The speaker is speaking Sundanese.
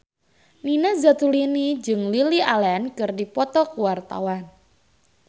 Nina Zatulini jeung Lily Allen keur dipoto ku wartawan